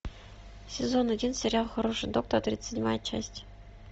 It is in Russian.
сезон один сериал хороший доктор тридцать седьмая часть